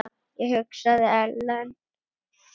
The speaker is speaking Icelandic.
Ég hugsaði: Ellen?